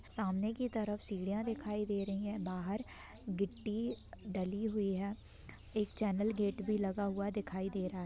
सामने की तरफ सीढ़ियां दिखाई दे रही है बाहर गिट्टी डली हुई है एक चैनल गेट भी लगा हुआ दिखाई दे रहा।